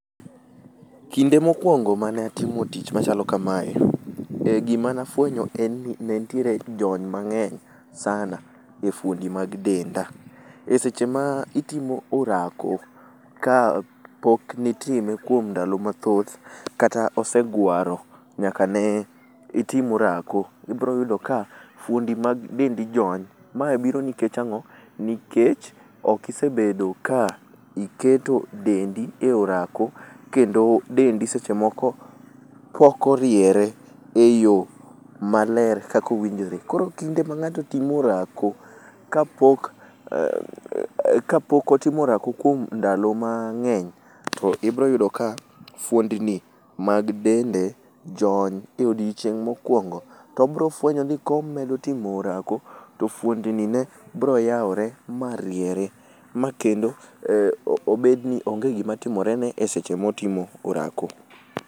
Kinde mokuongo mane atimo tich machalo kamae, eh gima ne afuenyo en ni nenitiere jony mang'eny sana e fuondi mag denda. Eseche ma itimo orako kapok nitime kuom ndalo mathoth, kata osee gwaro nyaka ne itim orako. Ibiro yudo ka fuondi mag dendi jony. Ma biro nikech ang'o? nikech ok isebedo ka iketo dendi e orako. Kendo dendi seche moko ok oriere eyo maler kaka owinjore. Koro kinde ma ng'ato timo orako kapok otimo orako kuom ndalo mang'eny, to ibiro yudo ka fuondni mag dende jony e odiechieng' ma okuongo. Tobofuenyo ni ka omedo timo orako, to fuondni ne biro yawore ma riere ma kendo obedni onge gima timorene eseche ma otimo orako,